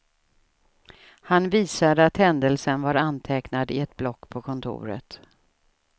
Han visade att händelsen var antecknad i ett block på kontoret.